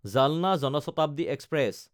জালনা জন শতাব্দী এক্সপ্ৰেছ